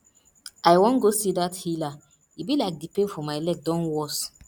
i wan go see dat healer e be like the pain for my leg don worse